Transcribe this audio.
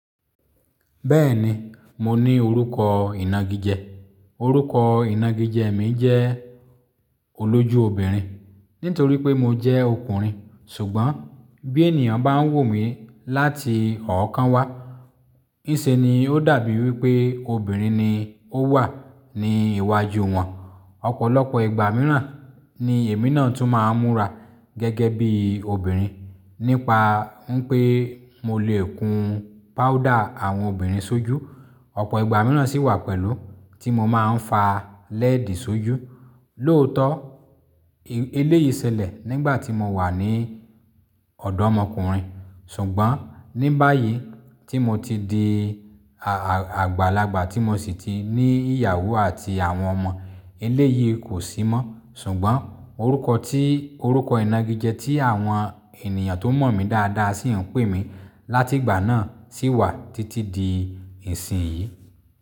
Bẹ́ẹ̀ni, mo ní orúkọ ìnagijẹ. Orúkọ ìnagijẹ mi jẹ́ olójú obìnrin. Nítorí pé mo jẹ́ ọkùnrin, ṣùgbọ́n bí ènìyàn bá ń wò mí láti ọ̀ọ́kán wá, níṣe ni ó dàbí wí pé obìnrin ni ó wà ní iwájú wọn. Ọ̀pọ̀lọpọ̀ ìgbà mìíràn ni èmi náà tún máa ń múra gẹ́gẹ́ bí obìnrin. Nípa ń pé mo lè kun páúdà àwọn obìnrin sójú. Ọ̀pọ̀ ìgbà mìíràn sì wà pẹ̀lú tí mo máa ń fa lẹ́ẹ̀dì sójú. Lóòótọ́ eléyìí ṣẹlẹ̀ nígbà tí mo wà ní ọ̀dọ́ ọmọkùnrin. Tùngbọ́n ní báyìí tí mo ti di àgbàlagbà tí mo sì ti ní ìyàwó àti àwọn ọmọ, eléyìí kò sí mọ́. Ṣùgbọ́n orúkọ tí orúkọ ìnagijẹ tí àwọn ènìyàn tó mọ̀ mí dáadáa sì ń pè mí láti ìgbà náà sì wà títí di ìsìn yìí.